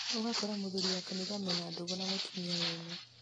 ũgakora mũthuri wa kanitha mena ndũgũ na mũtumia wene